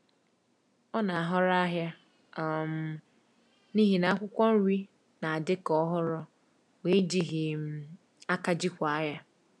Ọ na-ahọrọ ahịa um n’ihi na akwụkwọ nri na-adị ka ọhụrụ ma e jighị um aka jikwaa ya.